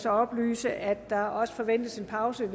oplyse at der også forventes en pause